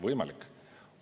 Võimalik!